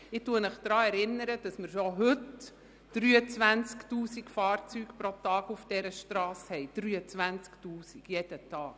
Ich erinnere Sie daran, dass wir bereits heute 23 000 Fahrzeuge pro Tag auf dieser Strasse haben – 23 000 Fahrzeuge jeden Tag!